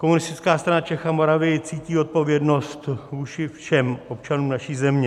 Komunistická strana Čech a Moravy cítí odpovědnost vůči všem občanům naší země.